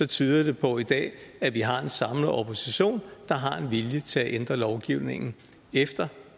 tyder det på i dag at vi har en samlet opposition der har en vilje til at ændre lovgivningen efter